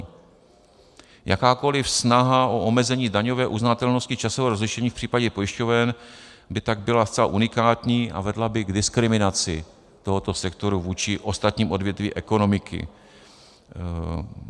Jakákoliv snaha o omezení daňové uznatelnosti časového rozlišení v případě pojišťoven by tak byla zcela unikátní a vedla by k diskriminaci tohoto sektoru vůči ostatním odvětvím ekonomiky.